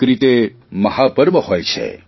એક રીતે મહાપર્વ હોય છે